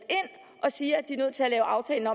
og siger at den nødt til at lave aftalen